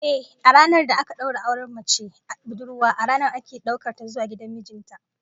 Ehh, a ranar da aka daura auren mace budurwa, a ranar ake daukar ta zuwa gidan mijin ta